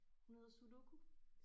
Hun hedder Sudoku